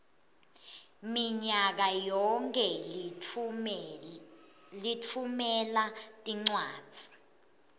minyakayonkhe litfumela tincwadzi